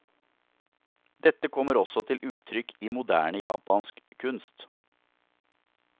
Dette kommer også til uttrykk i moderne japansk kunst.